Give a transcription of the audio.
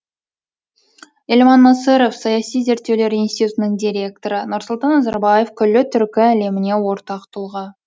елман насыров саяси зерттеулер институтының директоры нұрсұлтан назарбаев күллі түркі әлеміне ортақ тұлға